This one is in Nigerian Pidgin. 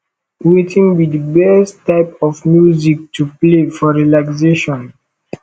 wetin be di best type of music to play for relaxation